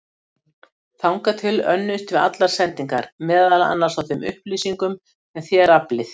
Þangað til önnumst við allar sendingar, meðal annars á þeim upplýsingum sem þér aflið.